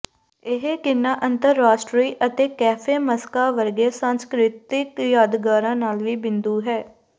ਇਹ ਕਿਨਾ ਅੰਤਰਰਾਸ਼ਟਰੀ ਅਤੇ ਕੈਫੇ ਮਸਕਾ ਵਰਗੇ ਸਾਂਸਕ੍ਰਿਤੀਕ ਯਾਦਗਾਰਾਂ ਨਾਲ ਵੀ ਬਿੰਦੂ ਹੈ